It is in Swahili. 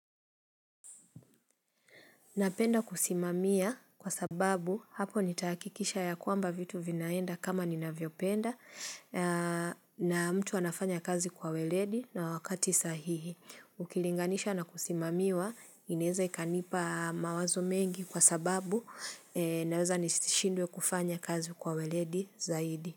Napenda kusimamia kwa sababu hapo nitakikisha ya kwamba vitu vinaenda kama nina vyopenda na mtu anafanya kazi kwa weledi na wakati sahihi. Ukilinganisha na kusimamiwa, inaeza ikanipa mawazo mengi kwa sababu naweza nishindwe kufanya kazi kwa weledi zaidi.